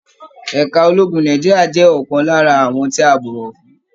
Ẹ̀ka ológun Nàìjíríà jẹ ọkan lára àwọn tí a bọwọ fún